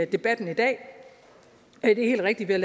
debatten i dag det er helt rigtigt at